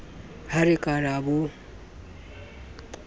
ha re ka ra bo